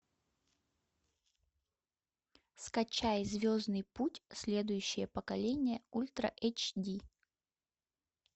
скачай звездный путь следующее поколение ультра эйч ди